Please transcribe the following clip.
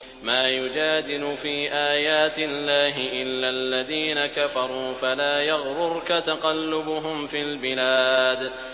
مَا يُجَادِلُ فِي آيَاتِ اللَّهِ إِلَّا الَّذِينَ كَفَرُوا فَلَا يَغْرُرْكَ تَقَلُّبُهُمْ فِي الْبِلَادِ